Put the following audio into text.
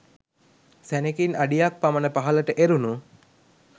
සැනෙකින් අඩියක් පමණ පහළට එරුණු